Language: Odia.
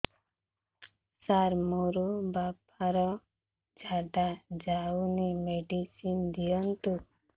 ସାର ମୋର ବାପା ର ଝାଡା ଯାଉନି ମେଡିସିନ ଦିଅନ୍ତୁ